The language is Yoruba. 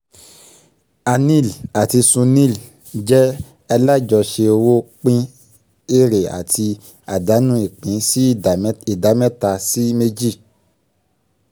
anil àti sunil jẹ́ alájọṣe owó pín èrè àti àdánù ìpín sí ìdá mẹ́ta sí méjì